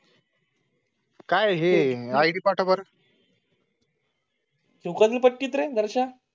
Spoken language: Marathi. काय हे आडी पाठ वा? तुम्हाला फक्त दर्शन